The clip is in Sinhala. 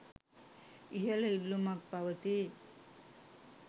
ඉහළ ඉල්ලුමක් පවතී